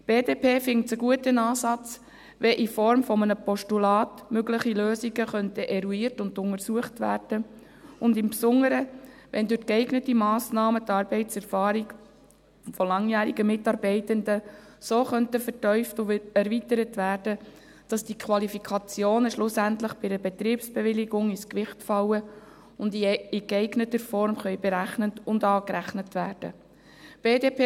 Die BDP findet es einen guten Ansatz, wenn in Form eines Postulats mögliche Lösungen eruiert und untersucht, und im Besonderen, wenn durch geeignete Massnahmen die Arbeitserfahrung von langjährigen Mitarbeitenden so vertieft und erweitert werden könnten, dass die Qualifikationen schlussendlich bei einer Betriebsbewilligung ins Gewicht fallen und in geeigneter Form berechnet und angerechnet werden können.